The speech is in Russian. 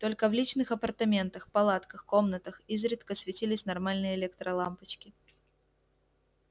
только в личных апартаментах палатках комнатах изредка светились нормальные электролампочки